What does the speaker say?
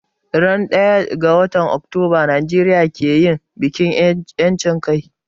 Ran daya ga watan Octoba Nijeria ke yin bikin yanchin kai